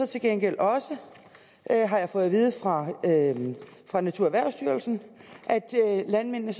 til gengæld også har jeg fået at vide fra naturerhvervsstyrelsen at landmændene